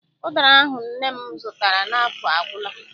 Ụdara ahụ nne m zụtara n'afọ agwụla.